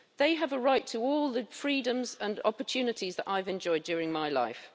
They have a right to all the freedoms and opportunities that I've enjoyed during my life.